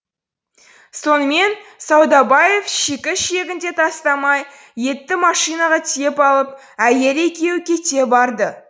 сонымен саудабаев шикі ішегін де тастамай етті машинаға тиеп алып әйелі екеуі кете барды